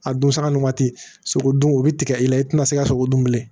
A don saga n'o waati sogo dun o bi tigɛ i la i tina se ka sogo dun bilen